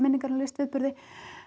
minningar um listviðburði